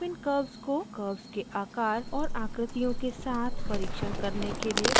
आप इन curves को curves के आकार और आकृतियों के साथ परिक्षण करने के लिए प्रयोग कर सकते हैं